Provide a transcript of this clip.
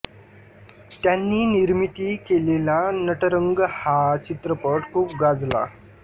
त्यांनी निर्मिती केलेला नटरंग हा चित्रपट खूप गाजला